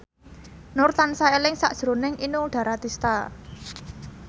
Nur tansah eling sakjroning Inul Daratista